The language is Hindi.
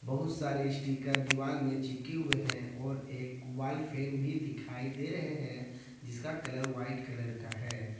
बहुत सारे स्टीकर दीवाल में चिपके हुए हैं और एक वाल फैन भी दिखाई दे रहे हैं जिसका कलर वाइट कलर का है।